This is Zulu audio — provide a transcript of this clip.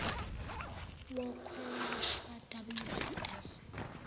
wokwelashwa w cl